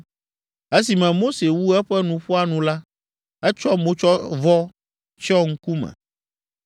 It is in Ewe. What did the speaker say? Esime Mose wu eƒe nuƒoa nu la, etsɔ motsyɔvɔ tsyɔ ŋkume.